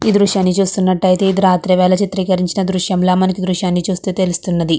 ఈ దృశ్యాన్ని చూస్తునట్టు అయతే ఇది రాత్రి వేల చిత్రీకరించిన దృశ్యంలా మనకు దృశ్యాన్ని చూస్తే తెలుస్తున్నది.